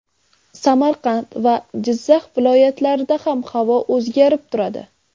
Samarqand va Jizzax viloyatlarida ham havo o‘zgarib turadi.